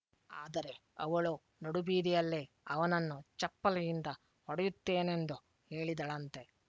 ಆದರೆ ಅವಳು ನಡುಬೀದಿಯಲ್ಲೇ ಅವನನ್ನು ಚಪ್ಪಲಿಯಿಂದ ಹೊಡೆಯುತ್ತೇನೆಂದು ಹೇಳಿದಳಂತೆ